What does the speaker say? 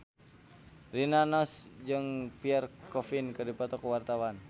Rina Nose jeung Pierre Coffin keur dipoto ku wartawan